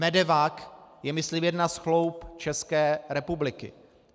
MEDEVAC je myslím jedna z chloub České republiky.